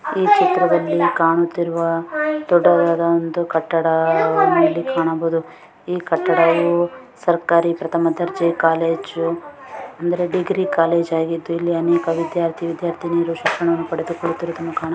ಈ ಚಿತ್ರದಲ್ಲಿ ಕಾಣುತ್ತಿರುವ ದೊಡ್ಡದಾದ ಒಂದು ಕಟ್ಟಡ ಇಲ್ಲಿ ಕಾಣಬಹುದು ಈ ಕಟ್ಟಡವು ಸರಕಾರಿ ಪ್ರಥಮ ದರ್ಜೆ ಕಾಲೇಜು ಅಂದ್ರೆ ಡಿಗ್ರಿ ಕಾಲೇಜು ಆಗಿದ್ದು ಇಲ್ಲಿ ಅನೇಕ ವಿದ್ಯಾರ್ಥಿ ವಿದ್ಯಾರ್ಥಿನಿಯರು ಶಿಕ್ಷಣವನ್ನು ಪಡೆದುಕೊಳ್ಳುತ್ತಿರುವುದನ್ನು ಕಾಣ --